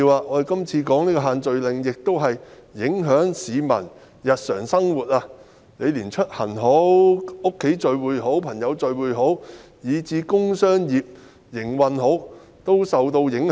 我們今次討論的限聚令影響市民日常生活，連出行及在家中與朋友聚會，以至工商業的營運等也受影響。